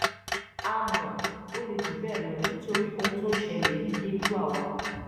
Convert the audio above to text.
àmọ ó le jù bẹẹ lọ nítorí ohun tó ń ṣẹlẹ yìí yé irú àwa